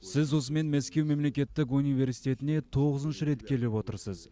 сіз осымен мәскеу мемлекеттік университетіне тоғызыншы рет келіп отырсыз